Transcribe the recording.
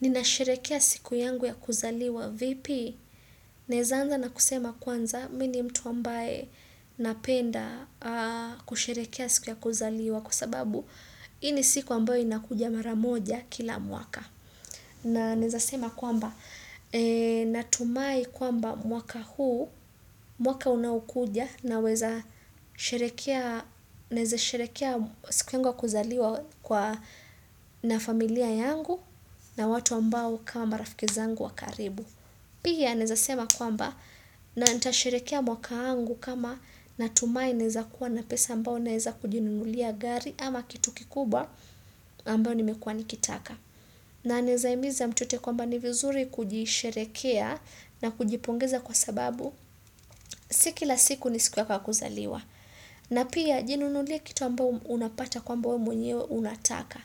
Ninasherekea siku yangu ya kuzaliwa vipi? Naeza anza na kusema kwanza, mi ni mtu ambaye napenda kusherekea siku ya kuzaliwa kwa sababu hii ni siku ambayo inakuja mara moja kila mwaka. Na naeza sema kwamba, natumai kwamba mwaka huu, mwaka unaokuja naweza sherekea, naeza sherekea siku yangu ya kuzaliwa na familia yangu. Na watu ambao kama marafiki zangu wa karibu. Pia naeza sema kwamba na nitasherekea mwaka wangu kama natumai naeza kuwa na pesa ambao naeza kujinunulia gari ama kitu kikubwa ambao nimekuwa nikitaka. Na naeza himiza mtu yeyote kwamba ni vizuri kujisherekea na kujipongeza kwa sababu si kila siku ni siku yako ya kuzaliwa. Na pia jinunulie kitu ambao unapata kwamba we mwenyewe unataka.